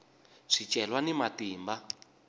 swicelwa ni matimba